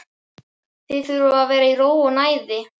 Þið þurfið að vera í ró og næði.